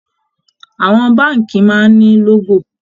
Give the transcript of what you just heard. Àwọn báǹkì máa ń ní lógò